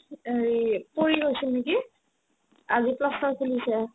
এ, হেৰি পৰি গৈছিল নেকি আজি plaster ৰ খুলিছে